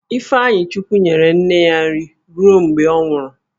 Ifeanyichukwu nyere nne ya nri ruo mgbe ọ nwụrụ